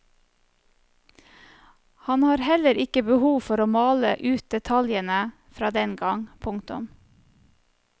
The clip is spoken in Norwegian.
Han har heller ikke behov for å male ut detaljene fra dengang. punktum